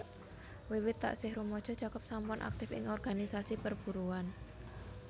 Wiwit taksih rumaja Jacob sampun aktif ing organisasi perburuhan